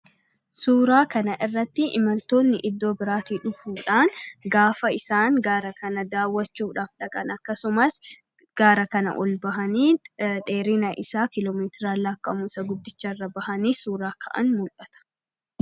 Suuraa kana irratti imaaltoonni iddoo biraatii dhufuudhan gaafa isaan gaara kana dawwachuudhaf dhaqan akkasumas, gaara kana ol ba'aani dheerina isaa kiloomeetira lakka'amu irra ba'aani suuraa ka'aan mul'ata.